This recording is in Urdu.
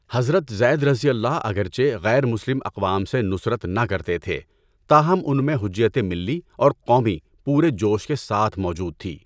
حضرت زیدؓ اگرچہ غیر مسلم اقوام سے نصرت نہ کرتے تھے، تاہم ان میں حجیتِ ملی اور قومی پورے جوش کے ساتھ موجود تھی۔